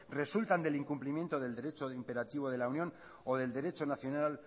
resultan del incumplimiento del derecho imperativo de la unión o del derecho nacional